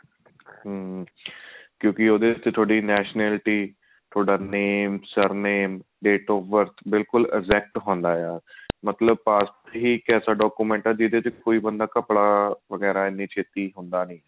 ਹਮ ਕਿਉਂਕਿ ਉਹਦੇ ਉੱਤੇ ਥੋਡੀ nationality ਥੋਡਾ name sir name date of birth ਬਿਲਕੁਲ exact ਹੁੰਦਾ ਆ ਮਤਲਬ passport ਹੀ ਐਸਾ document ਹੈ ਜਿਹਦੇ ਚ ਘਪਲਾ ਵਗੇਰਾ ਇੰਨੀ ਛੇਤੀ ਹੁੰਦਾ ਨੀ